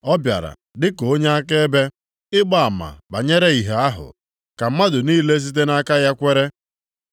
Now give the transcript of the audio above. Ọ bịara dị ka onye akaebe ịgba ama banyere ìhè ahụ, ka mmadụ niile site nʼaka ya kwere.